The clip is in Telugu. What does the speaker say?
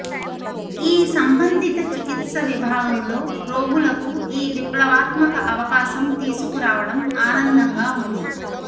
ఈ సంబంధిత చికిత్స విభాగంలో రోగులకు ఈ విప్లవాత్మక అవకాశం తీసుకురావడం ఆనందంగా ఉంది